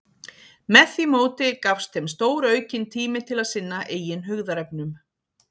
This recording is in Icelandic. Með því móti gafst þeim stóraukinn tími til að sinna eigin hugðarefnum.